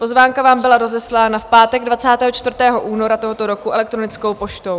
Pozvánka vám byla rozeslána v pátek 24. února tohoto roku elektronickou poštou.